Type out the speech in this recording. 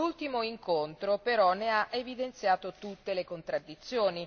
L'ultimo incontro, però, ne ha evidenziato tutte le contraddizioni.